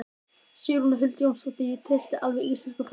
Sigrún Huld Jónsdóttir: Ég treysti alveg íslenskum framleiðendum?